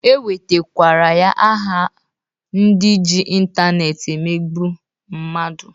E wetakwara ya aha ndị ji intaneeti emegbu mmadu.